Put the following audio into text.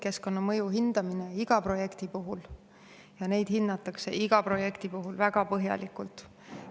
Keskkonnamõju hinnatakse iga projekti puhul ja hinnatakse iga projekti puhul väga põhjalikult.